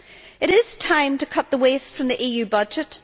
It is time to cut the waste from the EU budget.